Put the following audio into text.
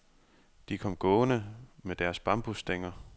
De kom gående med deres bambusstænger.